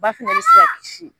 Ba fana bɛ se ka kisi.